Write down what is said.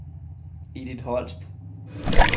Edith Holst